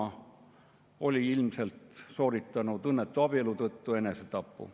Ta oli ilmselt sooritanud õnnetu abielu tõttu enesetapu.